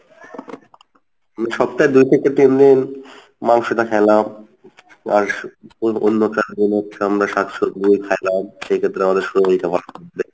আমি সপ্তাহে দুই থেকে তিনদিন মাংসটা খাইলাম আর অন্য চার দিন হচ্ছে আমরা শাক সব্জি খাইলাম সে ক্ষেত্রে আমাদের শরীরটা ভালো থাকবে।